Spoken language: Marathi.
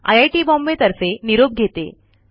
आय I T बॉम्बे तर्फे निरोप घेते